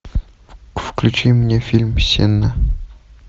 включи мне фильм сенна